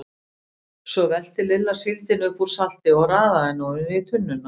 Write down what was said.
Svo velti Lilla síldinni upp úr salti og raðaði henni ofan í tunnuna.